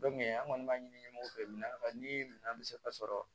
an kɔni b'a ɲini u bɛɛ mina ni minan bɛ se ka sɔrɔ